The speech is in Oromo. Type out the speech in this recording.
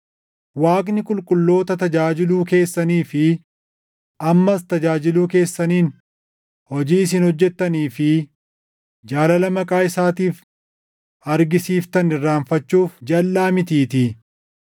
Waaqni qulqulloota tajaajiluu keessanii fi ammas tajaajiluu keessaniin hojii isin hojjettanii fi jaalala maqaa isaatiif argisiiftan irraanfachuuf jalʼaa mitiitii.